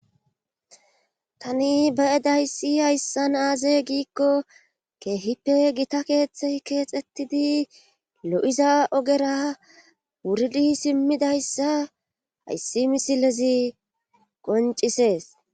Tani baedayssi hayssan aaze giikko keehippe gita keeththey keexxettidi lo7iza ogera wuridi simmidayssa hayssi misilezi qoncisees.